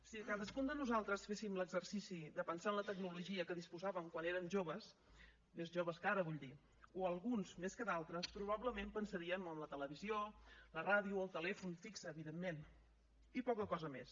si cadascun de nosaltres féssim l’exercici de pensar en la tecnologia de què disposàvem quan érem joves més joves que ara vull dir o alguns més que d’altres probablement pensaríem en la televisió la ràdio el telèfon fix evidentment i poca cosa més